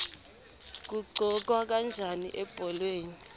kuqhokwa kanjani ebholeni